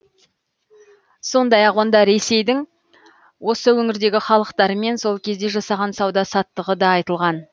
сондай ақ онда ресейдің осы өңірдегі халықтарымен сол кезде жасаған сауда саттығы да айтылған